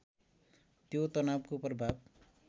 त्यो तनावको प्रभाव